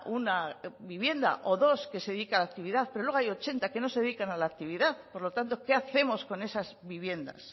una vivienda o dos que se dedica a la actividad pero luego hay ochenta que no se dedican a la actividad por lo tanto que hacemos con esas viviendas